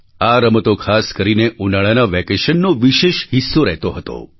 આ રમતો ખાસ કરીને ઉનાળાના વેકેશનનો વિશેષ હિસ્સો રહેતો હતો